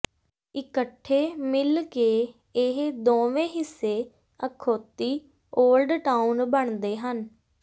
ਇਕੱਠੇ ਮਿਲ ਕੇ ਇਹ ਦੋਵੇਂ ਹਿੱਸੇ ਅਖੌਤੀ ਓਲਡ ਟਾਊਨ ਬਣਦੇ ਹਨ